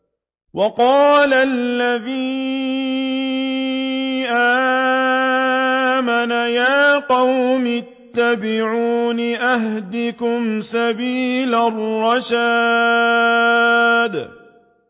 وَقَالَ الَّذِي آمَنَ يَا قَوْمِ اتَّبِعُونِ أَهْدِكُمْ سَبِيلَ الرَّشَادِ